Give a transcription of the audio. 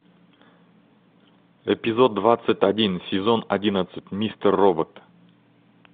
эпизод двадцать один сезон одиннадцать мистер робот